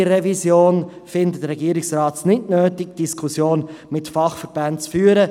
Wie bei der Revision findet es der Regierungsrat nicht nötig, die Diskussion mit den Fachverbänden zu führen.